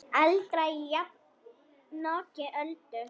Aldrei jafnoki Öldu.